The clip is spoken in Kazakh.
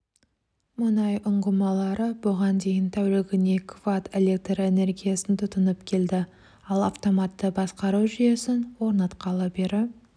мұнай ұңғымалары бұған дейін тәулігіне кватт электр энергиясын тұтынып келді ал автоматты басқару жүйесін орнатқалы бері